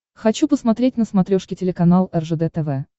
хочу посмотреть на смотрешке телеканал ржд тв